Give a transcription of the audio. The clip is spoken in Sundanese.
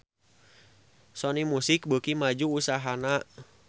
Sony Music beuki maju usahana